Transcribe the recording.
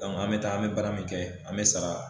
An me taa an me baara min kɛ an mi sara